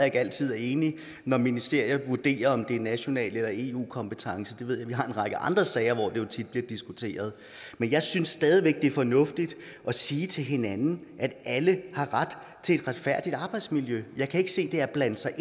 ikke altid er enig når ministerier vurderer om det er national eller eu kompetence vi har en række andre sager hvor det tit bliver diskuteret men jeg synes stadig væk det er fornuftigt at sige til hinanden at alle har ret til et retfærdigt arbejdsmiljø jeg kan ikke se det er at blande sig